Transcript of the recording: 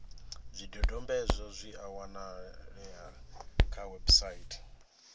zwidodombedzwa zwi a wanalea kha website